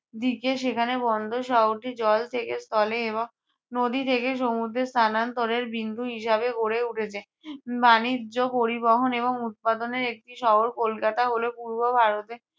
দিকে। সেখানে বন্দর শহরটি জল থেকে স্থলে এবং নদী থেকে সমুদ্রের স্থানান্তরের বিন্দু হিসাবে গড়ে উঠেছে। আহ বাণিজ্য, পরিবহন এবং উৎপাদনের একটি শহর কলকাতা হলো পূর্ব ভারতের